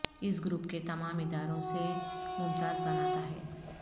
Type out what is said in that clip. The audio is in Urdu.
اس گروپ کے تمام اداروں سے ممتاز بناتا ہے